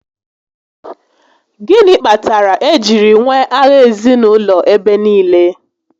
Gịnị kpatara e jiri nwee agha ezinaụlọ ebe niile?